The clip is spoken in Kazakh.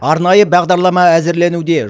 арнайы бағдарлама әзірленуде